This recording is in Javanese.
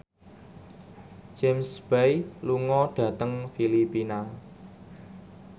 James Bay lunga dhateng Filipina